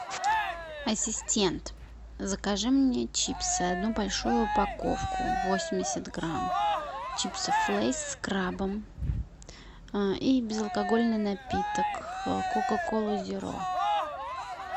ассистент закажи мне чипсы одну большую упаковку восемьдесят грамм чипсов лейс с крабом и безалкогольный напиток кока коллу зеро